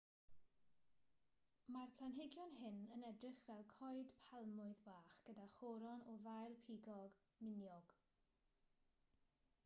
mae'r planhigion hyn yn edrych fel coed palmwydd bach gyda choron o ddail pigog miniog